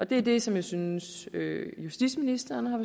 det er det som jeg synes at justitsministeren har